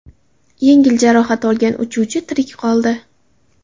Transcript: Yengil jarohat olgan uchuvchi tirik qoldi.